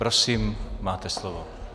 Prosím, máte slovo.